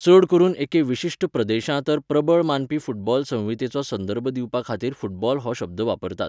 चड करून एके विशिश्ट प्रदेशा तर प्रबळ मानपी फूटबॉल संहितेचो संदर्भ दिवपाखातीर फूटबॉल हो शब्द वापरतात